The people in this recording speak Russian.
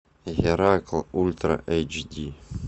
геракл ультра эйч ди